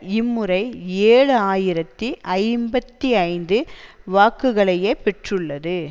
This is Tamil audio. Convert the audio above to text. இம்முறை ஏழு ஆயிரத்தி ஐம்பத்தி ஐந்து வாக்குகளையே பெற்றுள்ளது